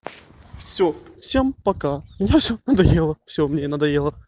всё всем пока мне всё надоело всё мне надоело